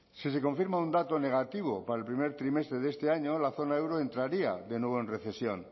si se confirma un dato negativo para el primer trimestre de este año la zona euro entraría de nuevo en recesión